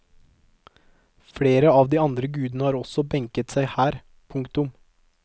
Flere av de andre gudene har også benket seg her. punktum